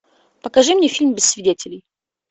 покажи мне фильм без свидетелей